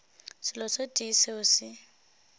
selo se tee seo se